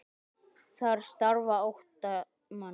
Þar starfa átta manns.